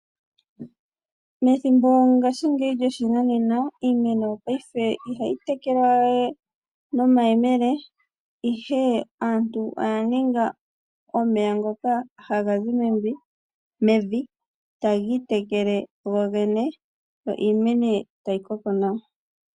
Methimbo lyoshinanena, iimeno ihayi tekelwa we nomayemele, ihe aantu oya ninga omeya ngoka haga zi mevi, tagi itekele gogene, yo iimeno tayi koko nawa .